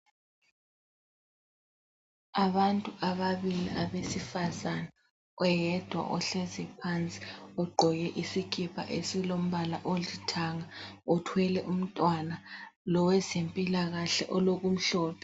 Abantu ababili abesifazana, oyedwa ohlezi phansi ugqoke isikipa esilombala olithanga, uthwele umntwana. Lowezempilakahle olokumhlophe.